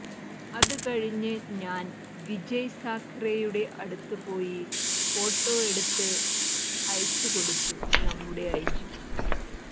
അത് കഴിഞ്ഞു ഞാൻ വിജയ് സാഖറേയുടെ അടുത്തുപോയി ഫോട്ടോ എടുത്ത് അയച്ച് കൊടുത്തു നമ്മുടെ ഐജിക്ക്